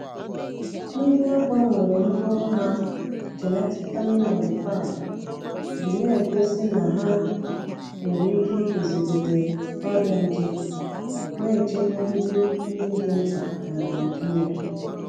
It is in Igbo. Ndị a gbanwere mkpụrụ ha (genetically modified) ji na-egosi na ha nwere ike iguzogide ọrịa nje, na-echebe nri ndị dị mkpa n’Naịjịrịa.